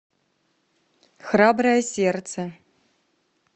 храброе сердце